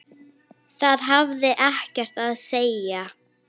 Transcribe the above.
Það hafði ekkert að segja.